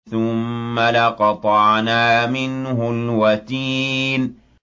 ثُمَّ لَقَطَعْنَا مِنْهُ الْوَتِينَ